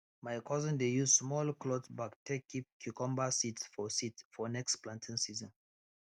my cousin dey use small cloth bag take keep cucumber seeds for seeds for next planting season